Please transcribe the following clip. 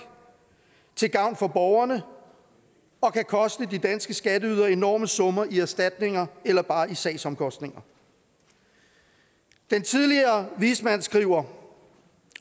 til gavn for borgerne og kan koste de danske skatteydere enorme summer i erstatninger eller bare i sagsomkostninger den tidligere vismand skriver